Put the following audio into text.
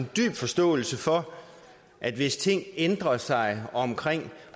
dyb forståelse for at hvis ting ændrer sig omkring